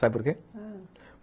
Sabe por quê? Não...